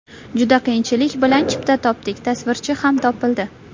Juda qiyinchilik bilan chipta topdik, tasvirchi ham topildi.